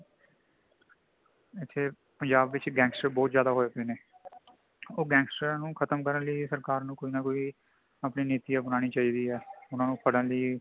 ਇਥੇ ਪੰਜਾਬ ਵਿੱਚ gangster ਬਹੁਤ ਜ਼ਿਆਦਾ ਹੋਈ ਪਏ ਨੇ , ਉਹ gangster ਨੂੰ ਖ਼ਤਮ ਕਰਨ ਲਈ ਸਰਕਾਰ ਨੂੰ ਅਪਣੀ ਕੋਈ ਨਾ ਕੋਈ ਨਿਤੀ ਅਪਨਾਨੀ ਚਾਹੀਦੀ ਹੈ ,ਉਨ੍ਹਾਂਨੂੰ ਫੜਨ ਲਈ